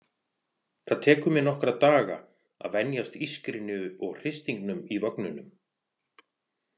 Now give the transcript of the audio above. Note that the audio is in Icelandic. Það tekur mig nokkra daga að venjast ískrinu og hristingnum í vögnunum.